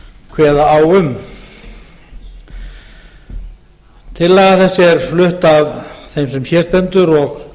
kveða á um tillaga þessi er flutt af þeim sem hér stendur og